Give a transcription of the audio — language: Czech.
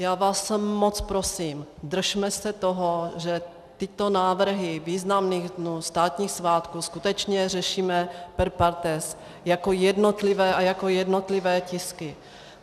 Já vás moc prosím, držme se toho, že tyto návrhy významných dnů, státních svátků skutečně řešíme per partes, jako jednotlivé a jako jednotlivé tisky.